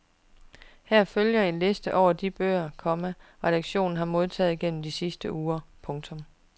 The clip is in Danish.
Her følger en liste over de bøger, komma redaktionen har modtaget gennem de seneste uger. punktum